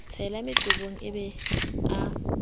sela meqomong a be a